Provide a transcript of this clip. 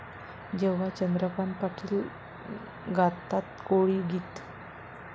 ...जेव्हा चंद्रकांत पाटील गातात कोळी गीत!